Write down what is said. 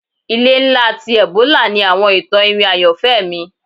Ile nla ti Ebora ni awọn itan iwin ayanfẹ mi